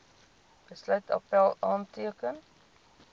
besluit appèl aanteken